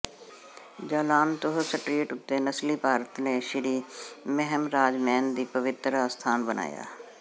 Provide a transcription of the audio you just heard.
ਜਾਲਾਨ ਤੂਹ ਸਟਰੀਟ ਉੱਤੇ ਨਸਲੀ ਭਾਰਤੀ ਨੇ ਸ਼੍ਰੀ ਮਹਮਰਾਜਮੈਨ ਦੀ ਪਵਿੱਤਰ ਅਸਥਾਨ ਬਣਾਇਆ